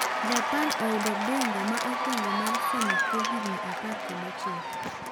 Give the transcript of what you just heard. Japan oyudo bingwa ma okwwongo mar Sumo kwo higni apar kod ochiko